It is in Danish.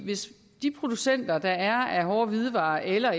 hvis de producenter der er af hårde hvidevarer eller